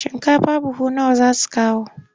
Shinkafa buhu nawa za su kawo?